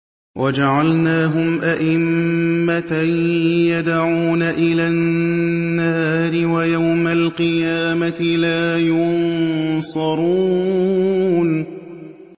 وَجَعَلْنَاهُمْ أَئِمَّةً يَدْعُونَ إِلَى النَّارِ ۖ وَيَوْمَ الْقِيَامَةِ لَا يُنصَرُونَ